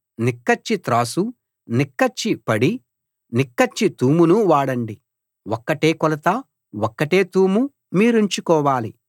నిక్కచ్చి త్రాసు నిక్కచ్చి పడి నిక్కచ్చి తూమును వాడండి ఒక్కటే కొలత ఒక్కటే తూము మీరుంచుకోవాలి